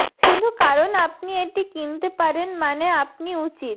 শুধু কারণ আপনি এটি কিনতে পারেন মানে আপনি উচিত